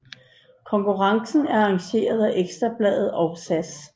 Konkurrencen er arrangeret af Ekstra Bladet og SAS